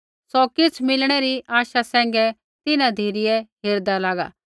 सौ किछ़ मिलणै री आशा सैंघै तिन्हां धिरै हेरदा लागा